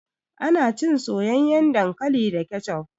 Ana cin soyayyan dankali da kecop.